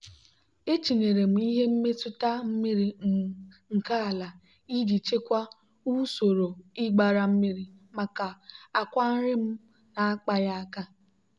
etinyere m ihe mmetụta mmiri um nke ala iji chịkwaa usoro ịgbara mmiri maka akwa nri m na-akpaghị aka.